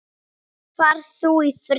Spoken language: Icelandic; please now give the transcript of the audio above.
Far þú í friði.